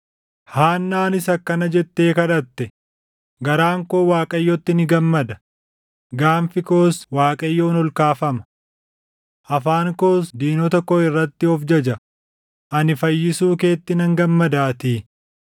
Haannaanis akkana jettee kadhatte: “Garaan koo Waaqayyotti ni gammada; gaanfi koos Waaqayyoon ol kaafama. Afaan koos diinota koo irratti of jaja; ani fayyisuu keetti nan gammadaatii.